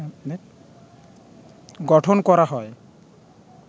গঠন করা হয়